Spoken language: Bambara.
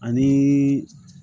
Ani